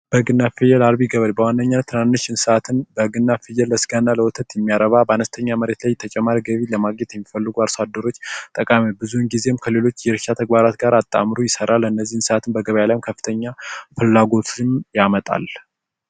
በግና ፍየል አርቢ ገበሬ በዋናነኝነት ትናንሽ እንስሳትን በግና ፍየል ለስጋና ለወተት እሚያረባ በአነስተኛ መሬት ላይ ተጨማሪ ገቢ ለማግኘት የሚፈልጉ አርሶ አደሮች ጠቃሚ ነዉ ብዙን ጊዜ ከሌሎች የእርሻ ተግባራት ጋር አጣምሮ ይሰራል በነዚህ እንስሳትም በገበያ ላይ ከፍተኛ ፍላጓትን ያመጣል